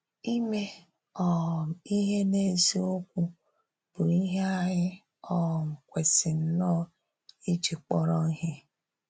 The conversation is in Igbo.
Ìmè um ihe n’ezíokwu bụ́ ihe anyị um kwesì nnọọ íjì kpọrọ ihe.